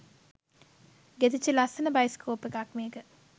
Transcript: ගෙතිච්ච ලස්සන බයිස්කෝප් එකක් මේක